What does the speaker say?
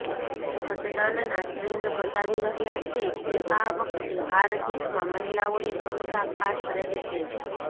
મતદાનના ટ્રેન્ડ બતાવી રહ્યા છે કે આ વખતે હાર જીતમાં મહિલાઓની ભૂમિકા ખાસ રહેશે